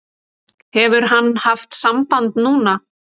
Hefur hann haft samband núna?